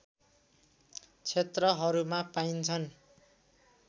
क्षेत्रहरूमा पाइन्छन्